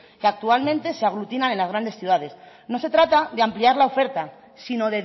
que actualmente se aglutinan en las grandes ciudades no se trata de ampliar la oferta sino